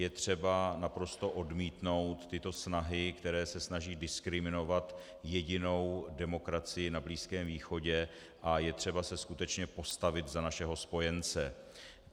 Je třeba naprosto odmítnout tyto snahy, které se snaží diskriminovat jedinou demokracii na Blízké východě, a je třeba se skutečně postavit za našeho spojence.